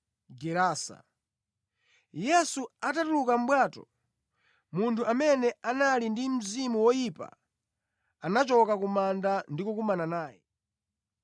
Yesu atatuluka mʼbwato, munthu amene anali ndi mzimu woyipa anachoka ku manda ndi kukumana naye.